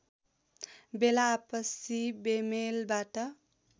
बेला आपसी बेमेलबाट